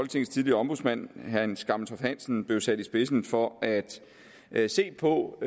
tidligere ombudsmand hans gammeltoft hansen blev sat i spidsen for at at se på